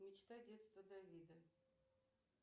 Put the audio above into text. мечта детства давида